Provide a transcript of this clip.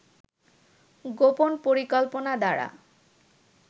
গোপন পরিকল্পনা দ্বারা